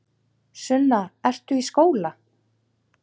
Sunna: Ertu í skóla?